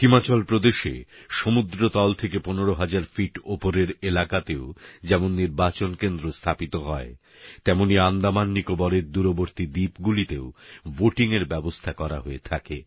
হিমাচল প্রদেশে সমুদ্রতল থেকে ১৫ হাজার ফিট ওপরের এলাকাতেও যেমন নির্বাচন কেন্দ্র স্থাপিত হয় তেমনই আন্দামাননিকোবরের দূরবর্তী দ্বীপগুলিতেও ভোটিংয়ের ব্যবস্থা করা হয়ে থাকে